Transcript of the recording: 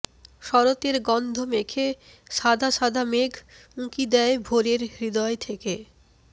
শরতের গন্ধ মেখে সাদা সাদা মেঘ উঁকি দেয় ভোরের হৃদয় থেকে